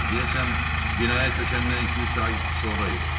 Deyəsən binaya köçəndən iki-üç ay sonra idi.